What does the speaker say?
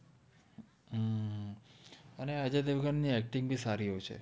અને અજય઼ દેવગન નિ acting બી સારિ હોએ છે